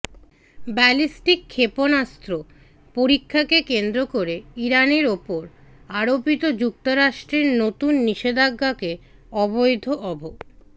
ballistic ক্ষেপণাস্ত্র পরীক্ষাকে কেন্দ্র করে ইরানের ওপর আরোপিত যুক্তরাষ্ট্রের নতুন নিষেধাজ্ঞাকে অবৈধ অভ